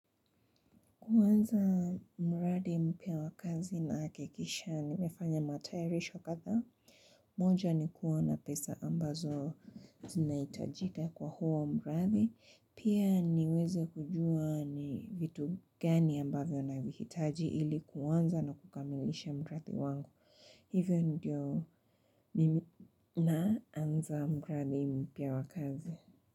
Kuanza muradi mpya wa kazi nahakikisha, nimefanya matayarisho kadhaa. Moja ni kuona pesa ambazo zinahitajika kwa huo mradi. Pia niweze kujua ni vitu gani ambavyo navihitaji ili kuanza na kukamilisha mradi wangu. Hivyo ndio mimi naanza mradi mpya wa kazi.